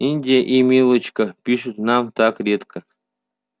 индия и милочка пишут нам так редко